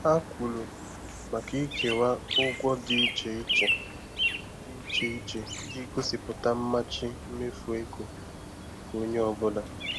Ha kwuru maka ikewa ụgwọ dị iche iche dị iche iche iji gosipụta mmachi mmefu ego nke onye ọ bụla.